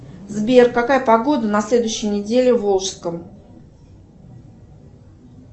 сбер какая погода на следующей неделе в волжском